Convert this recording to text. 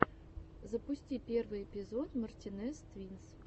запусти первый эпизод мартинез твинс